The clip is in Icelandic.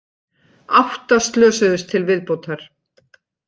Átta slösuðust til viðbótar